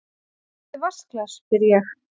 Áttu vatnsglas, spyr ég.